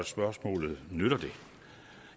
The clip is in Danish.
spørgsmålet nytter det